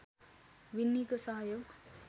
विन्नीको सहयोग